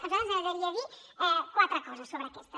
a nosaltres ens agradaria dir quatre coses sobre aquestes